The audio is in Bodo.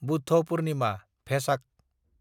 बुद्ध पुर्निमा/भेसाक